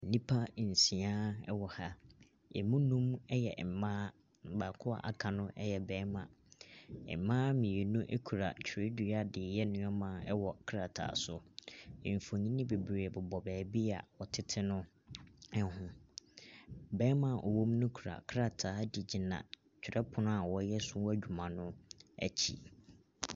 Nnipa nsia wɔ ha. Ɛmu nnum yɛ mmaa. Baako a waka no yɛ barima. Mmaa mmienu kura twerɛdua de reyɛ nneɛma wɔ krataa so. Mfonin bebree bobɔ baabi a wɔtete no ho. Barima a ɔwɔ mo no kura krataa de gyina twerɛpono a wɔreyɛ so adwuma no akyi.